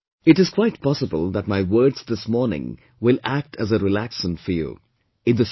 Of course, it is quite possible that my words this morning will act as a relaxant for you